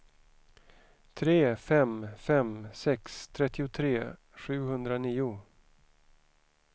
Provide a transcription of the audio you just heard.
tre fem fem sex trettiotre sjuhundranio